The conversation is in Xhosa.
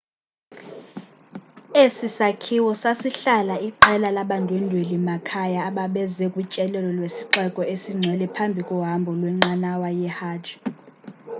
esi sakhiwo sasihlala iqela labandwendweli makhaya ababeze kutyelelo lwesixeko esingcwele phambi kohambo lwenqanawa yehajj